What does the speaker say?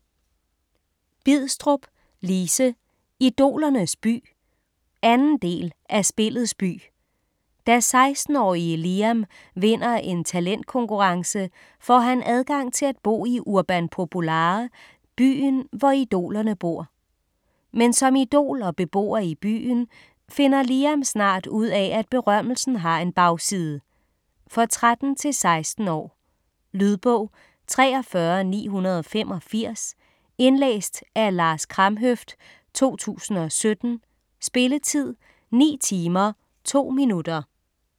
Bidstrup, Lise: Idolernes by 2. del af Spillets by. Da 16-årige Liam vinder en talentkonkurrence, får han adgang til at bo i Urban Populare, byen hvor idolerne bor. Men som idol og beboer i byen, finder Liam snart ud af at berømmelsen har en bagside. For 13-16 år. Lydbog 43985 Indlæst af Lars Kramhøft, 2017. Spilletid: 9 timer, 2 minutter.